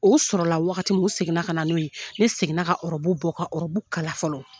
O sɔrɔla wagati min u seginna ka na n'o ye ne seginna ka ɔrɔbu bɔ ka ɔrɔbu kala fɔlɔ